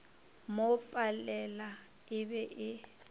mo palela e be e